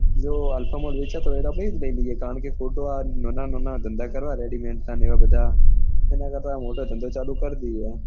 જો alpha mall વેચાતો લઇ લઈએ કારણ કે ખોટા આ નાના નાના ધંધા કરવા ready made ના ને બધા. નેં કરતા આ મોટા ધંધા ચાલુ કર દઈએ